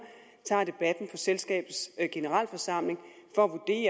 tager debatten selskabets generalforsamling for